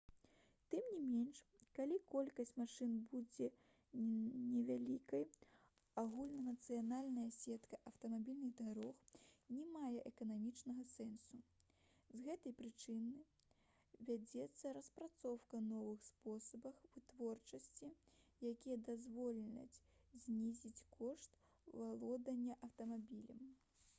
тым не менш калі колькасць машын будзе невялікай агульнанацыянальная сетка аўтамабільных дарог не мае эканамічнага сэнсу з гэтай прычыны вядзецца распрацоўка новых спосабаў вытворчасці якія дазволяць знізіць кошт валодання аўтамабілем